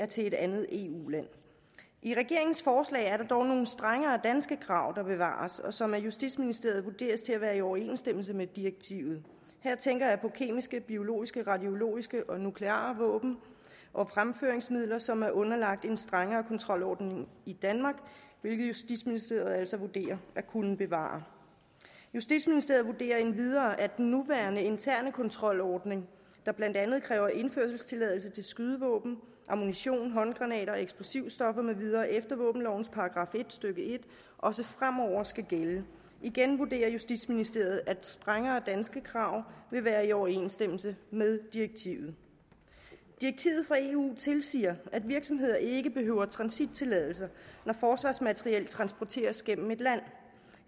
til et andet eu land i regeringens forslag er der dog nogle strengere danske krav der bevares og som af justitsministeriet vurderes til at være i overensstemmelse med direktivet her tænker jeg på kemiske biologiske radiologiske og nukleare våben og fremføringsmidler som er underlagt en strengere kontrolordning i danmark hvilket justitsministeriet altså vurderer at kunne bevare justitsministeriet vurderer endvidere at den nuværende interne kontrolordning der blandt andet kræver indførselstilladelse til skydevåben ammunition håndgranater eksplosive stoffer med videre efter våbenlovens § en stykke en også fremover skal gælde igen vurderer justitsministeriet at strengere danske krav vil være i overensstemmelse med direktivet fra eu tilsiger at virksomheder ikke behøver transittilladelser når forsvarsmateriel transporteres igennem et land